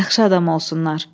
Yaxşı adam olsunlar.